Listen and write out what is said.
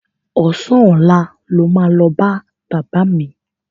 Ọ̀sán ọ̀la lo máa lọ bá bàbá mi.